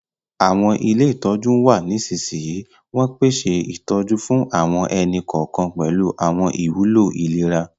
Àwọn ilé ìtọ́jú n wa nisinsinyi, won pese ìtójú fún àwọn ẹni-kọọkan pẹ̀lu àwọn ìwúló ìlera.